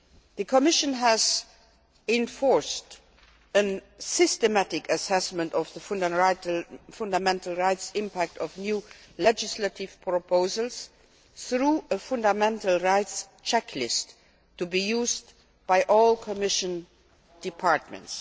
The Commission has enforced a systematic assessment of the fundamental rights impact of new legislative proposals through a fundamental rights checklist to be used by all Commission departments.